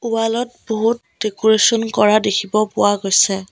Wall ত বহুত decoration কৰা দেখিব পোৱা গৈছে।